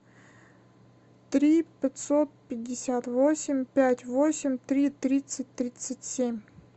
три пятьсот пятьдесят восемь пять восемь три тридцать тридцать семь